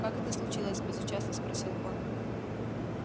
как это случилось безучастно спросил он